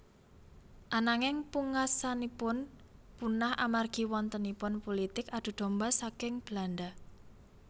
Ananging pungaksanipun punah amargi wontenipun pulitik adu domba saking Belanda